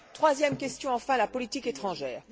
Troisième question, enfin, la politique étrangère.